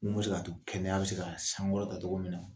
Mun bɛ se k'a to kɛnɛya bɛ se ka sankɔrɔta togo min na.